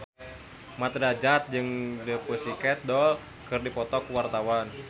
Mat Drajat jeung The Pussycat Dolls keur dipoto ku wartawan